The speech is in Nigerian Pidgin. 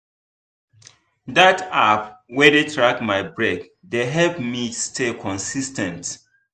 that app wey dey track my break dey help me stay consis ten t.